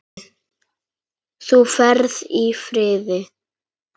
Þú ferð í friði.